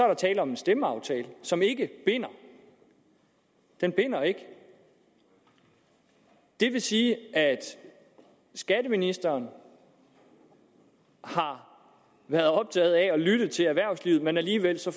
er tale om en stemmeaftale som ikke binder den binder ikke og det vil sige at skatteministeren har været optaget af at lytte til erhvervslivet men alligevel så